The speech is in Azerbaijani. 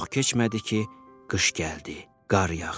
Çox keçmədi ki, qış gəldi, qar yağdı.